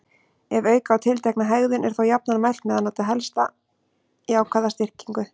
Ef auka á tiltekna hegðun er þó jafnan mælt með að nota helst jákvæða styrkingu.